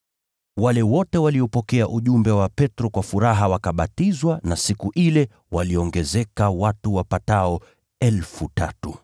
Wale wote waliopokea ujumbe wa Petro kwa furaha wakabatizwa na siku ile waliongezeka watu wapatao 3,000.